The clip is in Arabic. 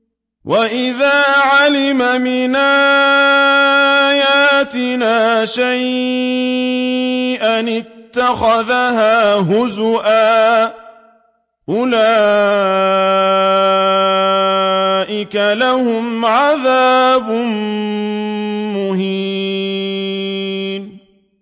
وَإِذَا عَلِمَ مِنْ آيَاتِنَا شَيْئًا اتَّخَذَهَا هُزُوًا ۚ أُولَٰئِكَ لَهُمْ عَذَابٌ مُّهِينٌ